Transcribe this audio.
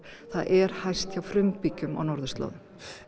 er hæst hjá frumbyggjum á norðurslóðum